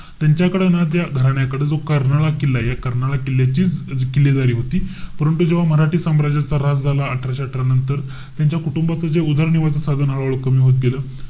त्यांच्याकडे ना त्या घराण्याकडे जो कर्नाळा किल्लाय. या कर्नाळा किल्ल्याचीच किल्लेदारी होती. परंतु जेव्हा मराठी साम्राज्याच्या ह्रास झाला, अठराशे अठरा नंतर, त्यांच्या कुटुंबाचं जे उदरनिर्वाहाचं साधन हळूहळू कमी होत गेलं.